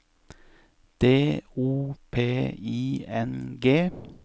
D O P I N G